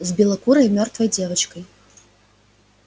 с белокурой мёртвой девочкой